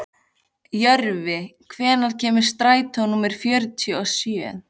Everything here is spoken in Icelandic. Jörvi, hvenær kemur strætó númer fjörutíu og sjö?